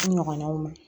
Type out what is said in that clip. N ɲɔgɔnaw ma